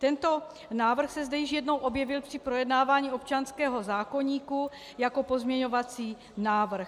Tento návrh se zde již jednou objevil při projednávání občanského zákoníku jako pozměňovací návrh.